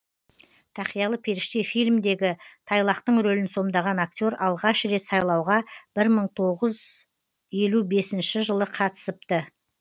тақиялы періште фильмдегі тайлақтың рөлін сомдаған актер алғаш рет сайлауға бір мың тоғыз елу бесінші жылы қатысыпты